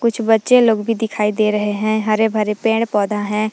कुछ बच्चे लोग भी दिखाई दे रहे हैं हरे भरे पेड़ पौधा है।